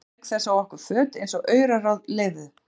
Hún saumaði auk þess á okkur föt eins og auraráð leyfðu.